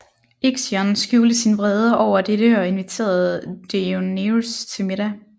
Ixion skjulte sin vrede over dette og inviterede Deioneus til middag